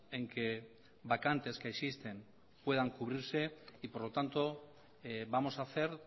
en que vacantes que existen puedan cubrirse y por lo tanto vamos a hacer